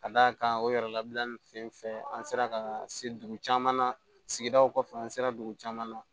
Ka d'a kan o yɛrɛ labila nin fɛn fɛn an sera ka se dugu caman na sigidaw kɔfɛ an sera dugu caman na